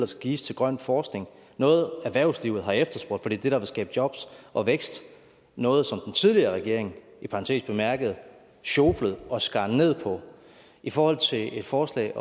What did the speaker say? skal gives til grøn forskning noget erhvervslivet har efterspurgt for det er det der vil skabe jobs og vækst og noget som den tidligere regering i parentes bemærket sjoflede og skar ned på i forhold til et forslag